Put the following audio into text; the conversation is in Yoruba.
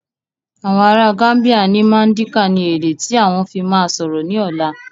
Àwọn ará Gambia ni madinka ni èdè tí àwọn fi máa sọ̀rọ̀ ni ọ̀la